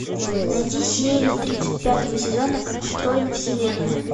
найти серию тридцать пятого сезона как устроена вселенная